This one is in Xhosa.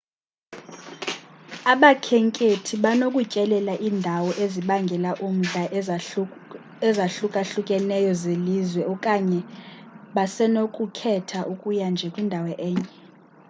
abakhenkethi banokutyelela iindawo ezibangela umdla ezahlukahlukeneyo zelizwe okanye basenokukhetha ukuya nje kwindawo enye